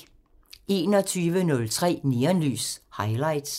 21:03: Neonlys – Highlights